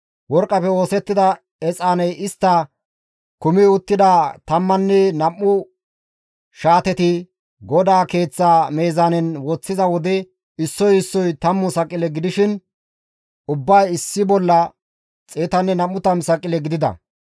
Worqqafe oosettida exaaney istta kumi uttida tammanne nam7u shaatetti GODAA Keeththa meezaanen woththiza wode issoy issoy 10 saqile gidishin ubbay issi bolla 120 saqile gidides.